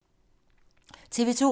TV 2